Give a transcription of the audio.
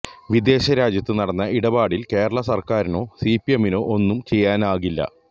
വിദേശരാജ്യത്ത് നടന്ന ഇടപാടില് കേരള സര്ക്കാരിനോ സിപിഎമ്മിനോ ഒന്നും ചെയ്യാനാകില്ല